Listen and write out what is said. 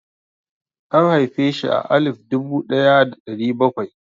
An haifeshi a alif dubu ɗaya da ɗari bakwai.